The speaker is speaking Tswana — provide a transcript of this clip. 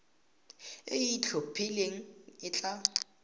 e e itlhophileng e tla